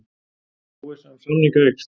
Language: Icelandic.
Óvissa um samninga eykst